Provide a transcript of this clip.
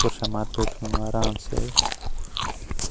कुर्सी म बैठ्यूं आराम से।